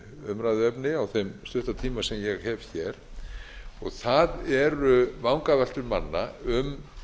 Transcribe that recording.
umræðuefni á þeim stutta tíma sem ég hef hér og það eru vangaveltur manna um